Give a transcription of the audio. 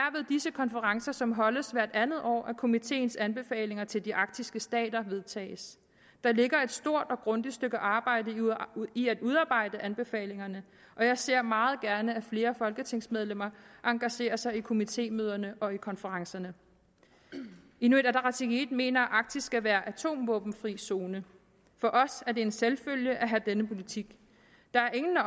disse konferencer som holdes hvert andet år at komiteens anbefalinger til de arktiske stater vedtages der ligger et stort og grundigt stykke arbejde i at udarbejde anbefalingerne og jeg ser meget gerne at flere folketingsmedlemmer engagerer sig i komitémøderne og i konferencerne inuit ataqatigiit mener at arktis skal være atomvåbenfri zone for os er det en selvfølge at have denne politik der er ingen af